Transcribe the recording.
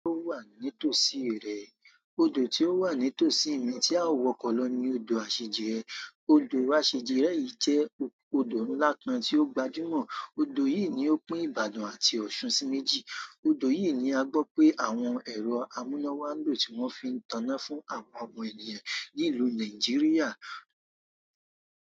Odò tí ó wà nítòsí rẹ̀, odò tí ó wà nítòsí mi tí a ó wo lo ni odò aseje. Odò asejire yìí jẹ́ odò ńlá kan tí ó gbajúmọ̀. Odò yìí ni ó pín Ibadan àti Osun sí méjì. Odò yìí ni a gbọ pé àwọn èrò amuna wà nlọ tí wọn fi ń taná fún àwọn ọmọ ènìyàn ní ìlú Nigeria.